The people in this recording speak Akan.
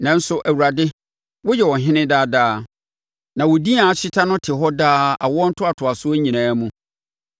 Nanso, wo Awurade, woyɛ ɔhene daa daa; na wo din a ahyeta no te hɔ daa awoɔ ntoatoasoɔ nyinaa mu.